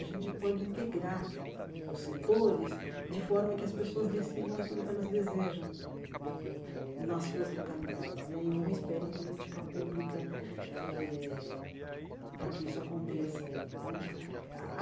A gente pode integrar os setores de forma que as pessoas decidam aquilo que elas desejam nas suas localidades né e não esperem política pública eh para que isso aconteça né ah ah.